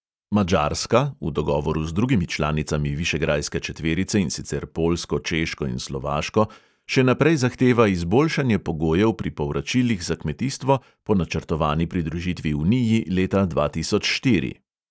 Madžarska (v dogovoru z drugimi članicami višegrajske četverice, in sicer poljsko, češko in slovaško) še naprej zahteva izboljšanje pogojev pri povračilih za kmetijstvo po načrtovani pridružitvi uniji leta dva tisoč štiri.